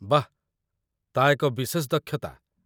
ବାଃ, ତା' ଏକ ବିଶେଷ ଦକ୍ଷତା